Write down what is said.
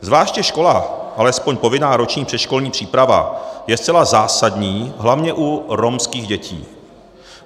Zvláště škola, alespoň povinná roční předškolní příprava, je zcela zásadní hlavně u romských dětí.